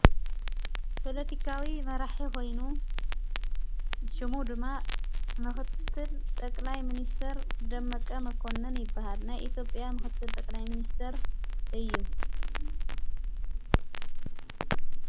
በሎቲካዊ መራሕ ኮይኑ ሽሙ ድማ መዂትል ጠቅላይ ምንስተር ደመቀ መኮንን ይበሃል ናይ ኢቲዬጵያ ምዂትል ጠቕላይ ምንስተር እዩ።